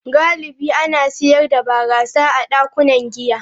Galibi ana sayar da barasa a dakunan giya.